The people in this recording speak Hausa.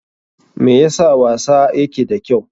Me yasa wasa yake da kyau?